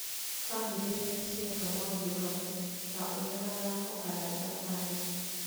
Bamĩrĩ rĩrĩa cireka maũndũ hamwe, ta ũrĩa mathako kana thabarĩ,